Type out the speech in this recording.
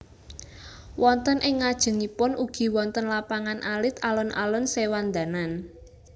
Wonten ing ngajengipun ugi wonten lapangan alit Alun alun Sewandanan